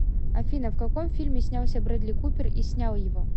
афина в каком фильме снялся брэдли купер и снял его